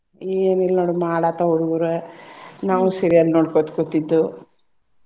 ಏನಿಲ್ಲ ನೋಡಮ್ಮ ಆಡಾತಾವ್ ಹುಡ್ಗುರ ನಾವು serial ನೋಡ್ಕೊತ್ ಕೂತಿದ್ದು.